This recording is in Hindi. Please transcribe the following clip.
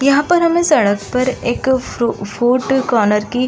यहाँ पर हमें सड़क एक पर फ्रू फूट कौनर की --